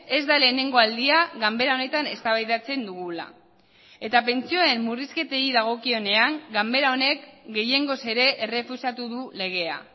ez da lehenengo aldia ganbera honetan eztabaidatzen dugula eta pentsioen murrizketei dagokionean ganbera honek gehiengoz ere errefusatu du legea